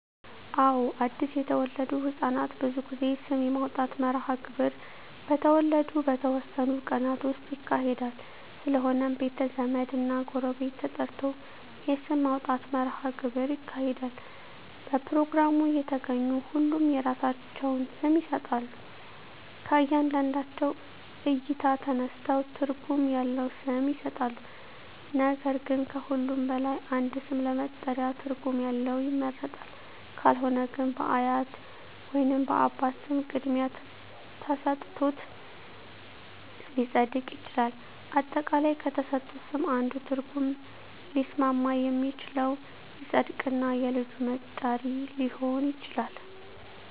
አወ አድሰ የተወለዱ ህፃናት ብዙ ጊዜ ስም የማውጣት መርሀ ግብር በተወለዱ በተወሠኑ ቀናት ውስጥ ይካሄዳል ስለሆነም ቤተ ዘመድ እና ጎረቤት ተጠርቶ የስም ማውጣት መራሀ ግብር ይካሄዳል በፕሮግራሙ የተገኙ ሁሉም የራሳቸውን ስም ይሠጣሎ ከእያንዳንዳቸው እይታ ተነስተው ትርጉም ያለው ስም ይሠጣሉ ነገር ግን ከሁሉም በላይ አንድ ስም ለመጠሪያ ትርጉም ያለው ይመረጣል ካልሆነ ግን በአያት ወይንም በአባት ስም ቅድሚያ ተሠጥቶት ሊፀድቅ ይችላል። አጠቃላይ ከተሠጡት ስም አንዱ ትርጉም ሊስማማ የሚችለው ይፀድቅ እና የልጁ መጠሪ ሊሆን ይችላል